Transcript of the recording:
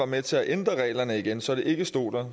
med til at ændre reglerne igen så det ikke stod